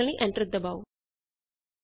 ਸੂਚੀ ਦੇਖਣ ਲਈ ਐਂਟਰ ਦਬਾਓ